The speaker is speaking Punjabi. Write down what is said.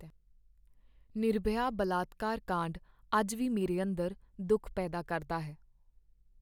ਨਿਰਭਯਾ ਬਲਾਤਕਾਰ ਕਾਂਡ ਅੱਜ ਵੀ ਮੇਰੇ ਅੰਦਰ ਦੁੱਖ ਪੈਦਾ ਕਰਦਾ ਹੈ।